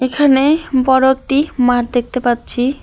এখানে বড় একটি মাঠ দেখতে পাচ্ছি।